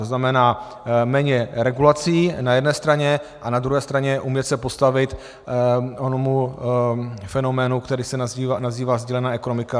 To znamená méně regulací na jedné straně a na druhé straně umět se postavit onomu fenoménu, který se nazývá sdílená ekonomika.